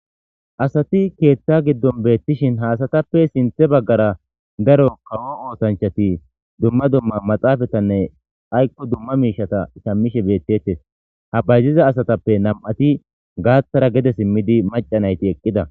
asati keethta giddon beettishin ha asatappe sinthe baggara daro kawo ootanchati dumma dumma maxaafatanne aykko dumma miishata sammishe beettettes ha bayziza asatappe nam'ati gaathara gede simmidi macanayti eqqida